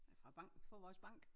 Fra bank fra vores bank